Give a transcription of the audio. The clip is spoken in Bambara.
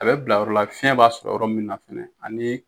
A bɛ bila yɔrɔ la fiyɛn b'a sɔrɔ yɔrɔ min na fɛnɛ ani